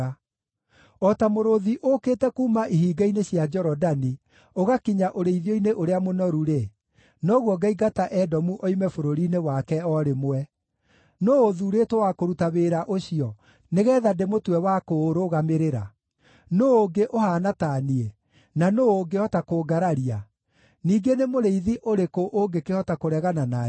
“O ta mũrũũthi ũũkĩte kuuma ihinga-inĩ cia Jorodani, ũgakinya ũrĩithio-inĩ ũrĩa mũnoru-rĩ, noguo ngaingata Edomu oime bũrũri-inĩ wake o rĩmwe. Nũũ ũthuurĩtwo wa kũruta wĩra ũcio nĩgeetha ndĩmũtue wa kũũrũgamĩrĩra? Nũũ ũngĩ ũhaana ta niĩ, na nũũ ũngĩhota kũngararia? Ningĩ nĩ mũrĩithi ũrĩkũ ũngĩkĩhota kũregana na niĩ?”